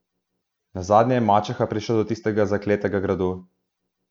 Nazadnje je mačeha prišla do tistega zakletega gradu.